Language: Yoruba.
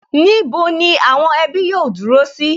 Níbo ni àwọn ẹbí yóò dúró sí?